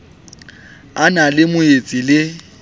a na le moetsi le